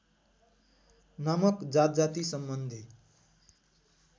नामक जातजाति सम्बन्धी